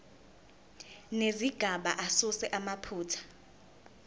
nezigaba asuse amaphutha